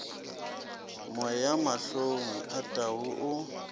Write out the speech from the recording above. moya mahlong a tau o